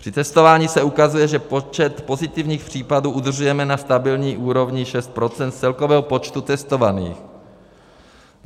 Při testování se ukazuje, že počet pozitivních případů udržujeme na stabilní úrovni 6 % z celkového počtu testovaných.